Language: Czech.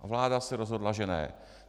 A vláda se rozhodla, že ne.